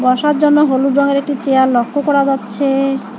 বসার জন্য হলুদ রংয়ের একটি চেয়ার লক্ষ্য করা যাচ্ছে।